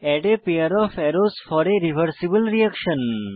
add a pair of arrows for a reversible reaction